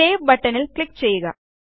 save ബട്ടണിൽ click ചെയ്യുക